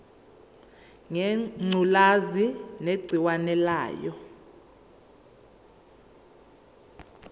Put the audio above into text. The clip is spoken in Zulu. ngengculazi negciwane layo